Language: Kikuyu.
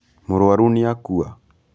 Mũrwaru nĩakua.